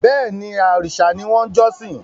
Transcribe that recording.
Bẹ́ẹ̀ni, òrìṣà ni wọ́n ń jọ́sìn